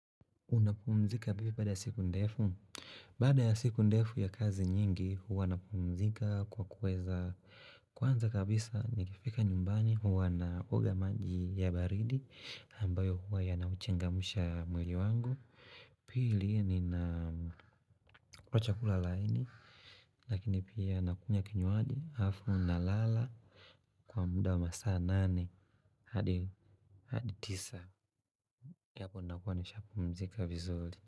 Unapumzika vipio bada ya siku ndefu? Bada ya siku ndefu ya kazi nyingi huwa napumzika kwa kweza. Kwanza kabisa nikifika nyumbani huwa na oga maji ya baridi ambayo huwa ya nauchengamusha mwili wangu. Pili nina kula chakula laini. Lakini pia nakunya kinyuadi hafu na lala kwa muda wa masaa nane hadi tisa. Yapo nakuwaunapumzika vizuli.